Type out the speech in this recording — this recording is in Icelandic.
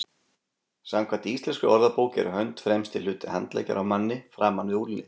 Samkvæmt íslenskri orðabók er hönd fremsti hluti handleggjar á manni, framan við úlnlið.